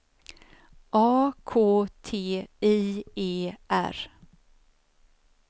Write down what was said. A K T I E R